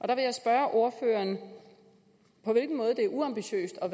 der vil jeg spørge ordføreren om på hvilken måde det er uambitiøst og